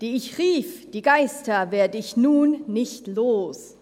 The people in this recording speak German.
Die ich rief, die Geister, werd’ ich nun nicht los.